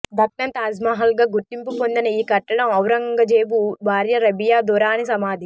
దక్నన్ తాజ్మహల్గా గుర్తింపు పొందిన ఈ కట్టడం ఔరంగజేబు భార్య రబియా దురానీ సమాధి